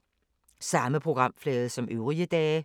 Samme programflade som øvrige dage